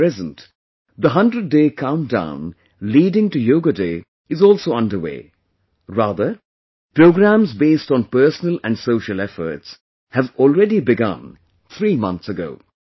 At present, the 100 day countdown leading to 'Yoga Day', is also underway; rather, programs based on personal and social efforts, have already begun three months ago